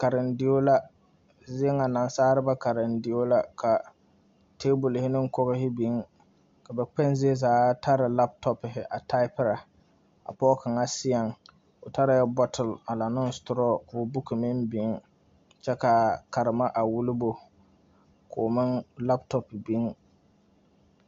Karendeo la nansaaleba karendeo ka table ne kogri biŋ ka ba kpeŋ zie zaa tare laptops a typing ka pɔge kaŋa seɛŋ o tare yɛ bottle a laŋ ne straw ka o books meŋ biŋ ka karema a wulo no koŋ meŋ laptop biŋ.